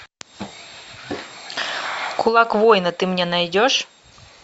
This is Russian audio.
кулак воина ты мне найдешь